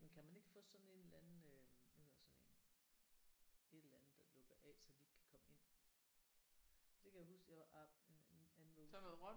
Men kan man ikke få sådan en eller anden øh hvad hedder sådan en? Et eller andet der lukker af så de ikke kan komme ind? For det kan jeg huske jeg var